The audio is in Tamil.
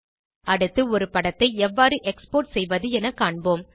அடுத்து ஒரு படத்தை எவ்வாறு எக்ஸ்போர்ட் செய்வது என காண்போம்